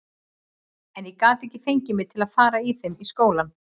En ég gat ekki fengið mig til að fara í þeim í skólann.